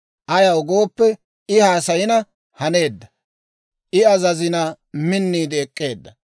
Ayaw gooppe, I haasayina haneedda; I azazina, minniide ek'k'eedda.